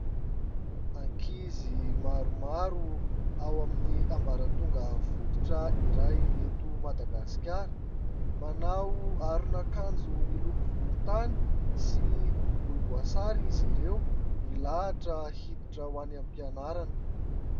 Ankizy maromaro ao amin'ny ambaratonga fototra iray eto Madagasikara. Manao aron'akanjo miloko volontany sy volomboasary izy ireo, milahitra hiditra ho any am-pianarana.